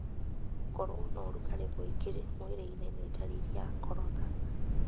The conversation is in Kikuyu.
Gũkorwo na ũrugarĩ mwĩngĩ mwĩrĩinĩ nĩ ndariri ya corona.